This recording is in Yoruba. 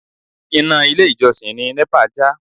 Iná ilé ìjọsìn ni NEPA já.